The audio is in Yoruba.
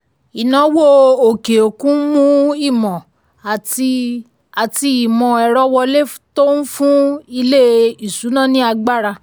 ìnáwó òkè òkun ń mú ìmọ̀ àti àti ìmọ̀ ẹ̀rọ wọlé tó ń fún ilé-ìṣúnná ní agbára.